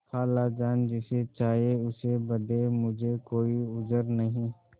खालाजान जिसे चाहें उसे बदें मुझे कोई उज्र नहीं